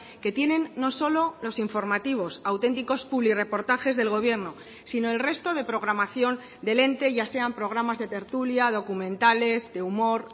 que tienen no solo los informativos auténticos publirreportajes del gobierno sino el resto de programación del ente ya sean programas de tertulia documentales de humor